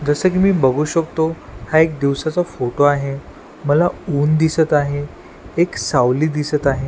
जस की मी बघू शकतो हा एक दिवसाचा फोटो आहे मला ऊन दिसत आहे एक सावली दिसत आहे.